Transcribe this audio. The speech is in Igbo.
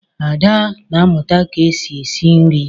Ada na amụta ka-esi esi nri.